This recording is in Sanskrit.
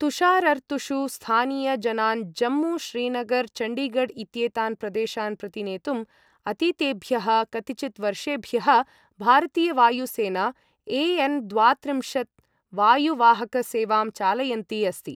तुषारर्तुषु स्थानीय जनान् जम्मू, श्रीनगर, चण्डीगढ़ इत्येतान् प्रदेशान् प्रति नेतुम् अतीतेभ्यः कतिचिद्वर्षेभ्यः भारतीय वायु सेना ए.एन् द्वात्रिम्शत् वायु वाहक सेवां चालयन्ती अस्ति।